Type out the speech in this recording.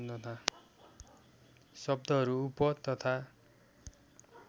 शब्दहरू उप तथा